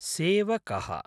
सेवकः